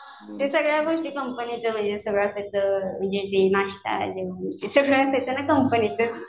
ते सगळ्या गोष्टी कंपनीचं म्हणजे नाश्ता सगळं असायचं ते कंपनीचंच